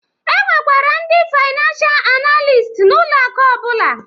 E nwekwara ndị faynansha analist n'ụlọ akụ ọbụla